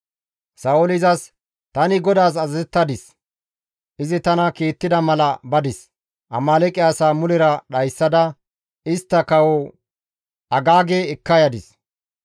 Sa7ooli izas, «Tani GODAAS azazettadis; izi tana kiittida mala badis; Amaaleeqe asaa mulera dhayssada istta kawo Agaage ekka yadis.